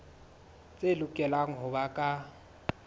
tse lokelang ho ba ka